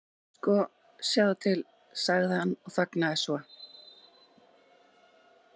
Sko, sjáðu til.- sagði hann og þagnaði svo.